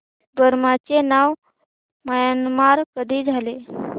Burma चे नाव Myanmar कधी झाले